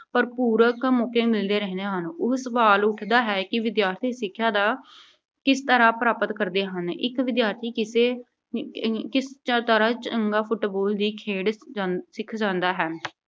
ਭਰਪੂਰ ਮੌਕੇ ਮਿਲਦੇ ਰਹਿੰਦੇ ਹਨ। ਹੁਣ ਸਵਾਲ ਉੱਠਦਾ ਹੈ ਕਿ ਵਿਦਿਆਰਥੀ ਸਿੱਖਿਆ ਦਾ ਕਿਸ ਤਰ੍ਹਾਂ ਪ੍ਰਾਪਤ ਕਰਦੇ ਹਨ। ਇੱਕ ਵਿਦਿਆਰਥੀ ਕਿਸੇ ਅਮ ਅਹ ਕਿਸੇ ਤਰ੍ਹਾਂ ਚੰਗੀ Football ਵੀ ਖੇਡ ਅਹ ਸਿੱਖ ਜਾਂਦਾ ਹੈ।